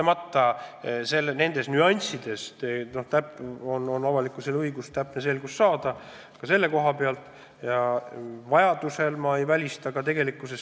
Mis puutub nüanssidesse, siis kahtlemata on avalikkusel õigus ka nendes selgust saada.